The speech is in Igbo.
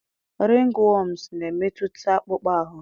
ringworms na-emetụta akpụkpọ ahụ.